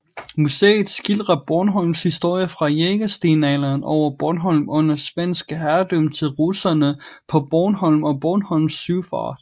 Museet skildrer Bornholms historie fra jægerstenalderen over Bornholm under svensk herredømme til russerne på Bornholm og Bornholms søfart